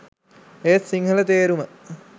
ඒත් සිංහල තේරුම